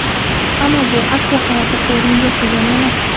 Ammo bu, aslo xavotirga o‘rin yo‘q, degani emas.